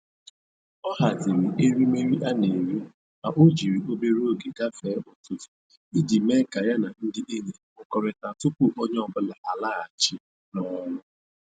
Ọ haziri erimeri a.na-eri ma o jiri obere oge gafee ụtụtụ, iji mee ka ya na ndị enyi ha hụrịkọta tupu onye ọbụla alaghachi n'ọrụ